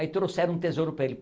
Aí trouxeram um tesouro para ele.